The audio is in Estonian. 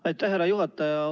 Aitäh, härra juhataja!